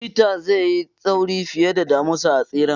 Chetta zai yi sauri fiye da damisa a tseren.